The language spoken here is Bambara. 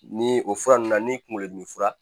Ni o fura ninnu na ni kunkolo dimi fura